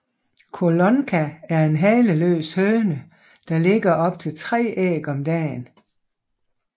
Collonca er en haleløs høne der lægger op til 3 æg om dagen